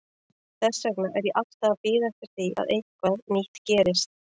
Þess vegna er ég alltaf að bíða eftir því að eitthvað nýtt gerist.